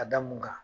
A da mun kan